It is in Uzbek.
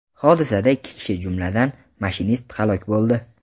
Hodisada ikki kishi, jumladan, mashinist halok bo‘ldi.